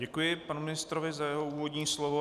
Děkuji panu ministrovi za jeho úvodní slovo.